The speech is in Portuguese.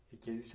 E que existe